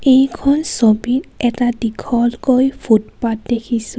এইখন ছবিত এটা দীঘলকৈ ফুটপাথ দেখিছোঁ.